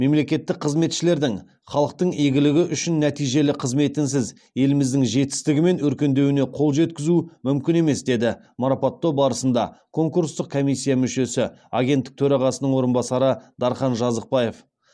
мемлекеттік қызметшілердің халықтың игілігі үшін нәтижелі қызметінсіз еліміздің жетістігі мен өркендеуіне қол жеткізу мүмкін емес деді марапаттау барысында конкурстық комиссия мүшесі агенттік төрағасының орынбасары дархан жазықбаев